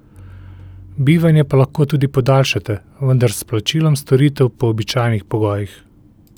Bivanje pa lahko tudi podaljšate, vendar s plačilom storitev po običajnih pogojih.